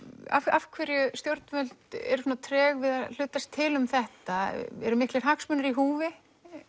af hverju stjórnvöld eru svona treg að hlutast til um þetta eru miklir hagsmunir í húfi